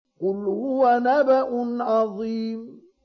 قُلْ هُوَ نَبَأٌ عَظِيمٌ